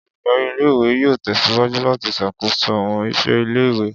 Oludari ìle-ìwe yoo tẹsiwaju lati ṣakoso awọn iṣẹ ìle-ìwe.